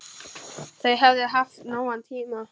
Þau höfðu haft nógan tíma.